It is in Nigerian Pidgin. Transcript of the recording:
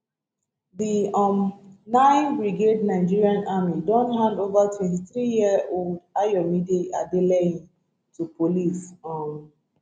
di um nine brigade nigerian army don handover twenty three year old ayomide adeleye to police um